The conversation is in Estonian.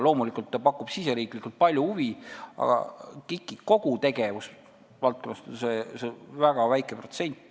Loomulikult see pakub riigisiseselt palju huvi, aga KIK-i kogu tegevusvaldkonnast on see väga väike protsent.